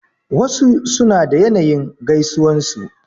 Wasu suna da yanayin gaisuwan su.